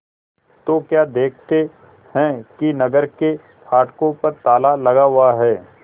तो क्या देखते हैं कि नगर के फाटकों पर ताला लगा हुआ है